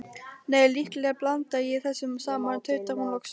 Nei, líklega blanda ég þessu saman, tautar hún loks.